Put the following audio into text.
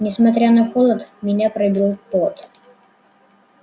несмотря на холод меня пробил пот